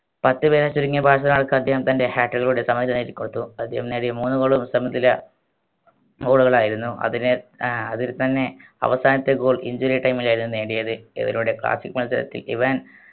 പക്ഷപേധം ചുരുങ്ങിയ ഭാഗകൾ കാട്ടിയും തൻറെ സമനില നേടിക്കൊടുത്തു അദ്ദേഹം നേടിയ മൂന്ന് goal ഉം സമനില goal കളായിരുന്നു അതിന് ഏർ അതിൽത്തന്നെ അവസാനത്തെ goal injury time ലായിരുന്നു നേടിയത് ഇവരുടെ classic മത്സരത്തിൽ ഇവൻ